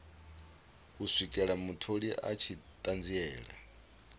swikela mutholi a tshi ṱanziela